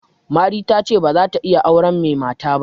Mari ta ce ba za ta iya auren mai mata ba.